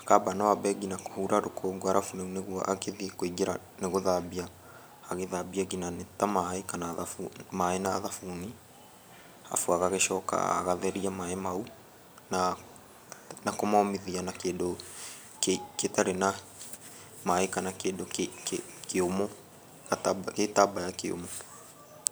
Akamba no ambe nginya kũhura rũkũngũ cs] alafu rĩu nĩguo akĩthiĩ kũingĩra nĩ gũthambia. Agithambia nginya nĩ ta maĩ na thabuni cs] alafu agagĩcoka agatheria maĩ mau na kũmomithia na kĩndũ gĩtarĩ na maĩ kana kĩndũ kĩũmũ, gĩtambaya kĩũmu.